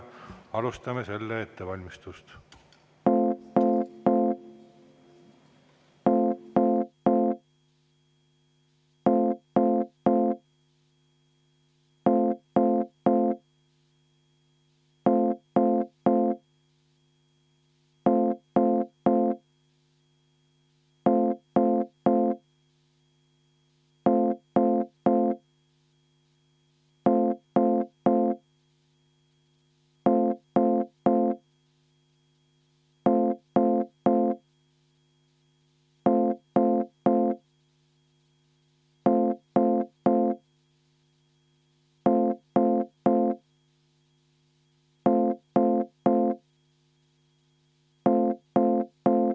Alustame selle ettevalmistust.